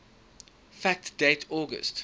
fact date august